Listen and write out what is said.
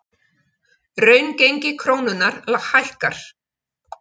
Raungengi krónunnar hækkar